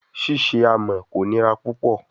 Ṣiṣe amọ ko nira pupọ